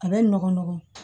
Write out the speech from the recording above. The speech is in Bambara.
A bɛ nɔgɔn nɔgɔn